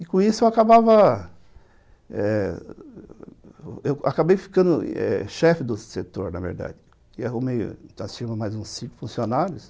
E, com isso, eu acabava eh... Eu acabei ficando eh chefe do setor, na verdade, e arrumei mais uns cinco funcionários.